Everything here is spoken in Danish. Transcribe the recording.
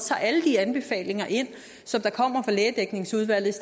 tager alle de anbefalinger ind som kommer lægedækningsudvalget